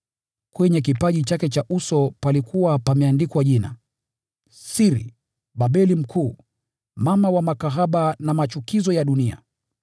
Kwenye kipaji chake cha uso palikuwa pameandikwa jina: “Siri, Babeli Mkuu, Mama wa makahaba na wa machukizo ya dunia.”